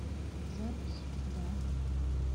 запись да